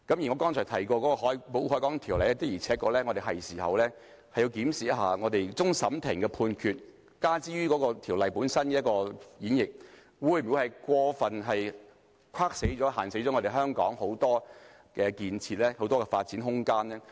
剛才提到的《保護海港條例》，的確是時候檢視一下，終審法院的判決加諸該條例的束縛，會否過分限死香港的建設和發展空間？